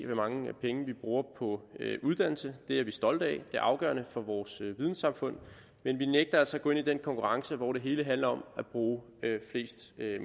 mange penge vi bruger på uddannelse det er vi stolte af det er afgørende for vores vidensamfund men vi nægter altså at gå ind i den konkurrence hvor det hele handler om at bruge flest